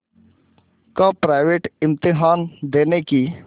का प्राइवेट इम्तहान देने की